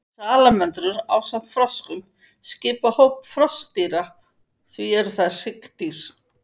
Salamöndrur ásamt froskum skipa hóp froskdýra og því eru þær hryggdýr.